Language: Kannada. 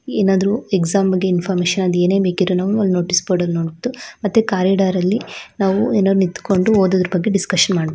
ಏನಾದ್ರು ಎಕ್ಸಾಮ್ ಬಗ್ಗೆ ಇನ್ಫಾರ್ಮಶನ್ ಏನೇ ಬೇಕಿದ್ದರೂ ಅಲ್ಲಿ ನೋಟೀಸ್ ಬೋರ್ಡ್ ಅಲ್ಲಿ ನೋಡ್ಬಿಟ್ಟು ಮತ್ತು ಕಾರಿಡಾರ್ ಅಲ್ಲಿ ನಾವು ಎಲ್ಲ ನಿತ್ಕೊಂಡು ಓದುದರ ಬಗ್ಗೆ ಡಿಸ್ಕಶನ್ ಮಾಡ್--